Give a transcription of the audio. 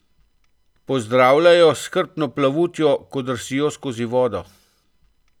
Pozdravljajo s hrbtno plavutjo, ko drsijo skozi vodo.